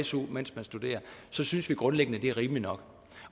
su mens man studerer synes vi grundlæggende at det er rimeligt nok